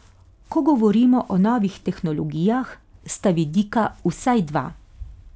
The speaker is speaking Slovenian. Ko govorimo o novih tehnologijah, sta vidika vsaj dva.